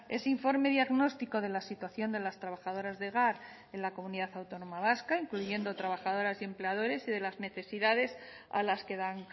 ese informe diagnóstico de la situación de las trabajadoras de hogar en la comunidad autónoma vasca incluyendo trabajadoras y empleadores y de las necesidades a las que dan